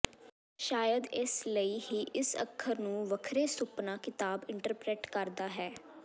ਸ਼ਾਇਦ ਇਸ ਲਈ ਹੀ ਇਸ ਅੱਖਰ ਨੂੰ ਵੱਖਰੇ ਸੁਪਨਾ ਕਿਤਾਬ ਇੰਟਰਪ੍ਰੇਟ ਕਰਦਾ ਹੈ